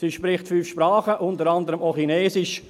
Sie spricht fünf Sprachen, unter anderem auch Chinesisch.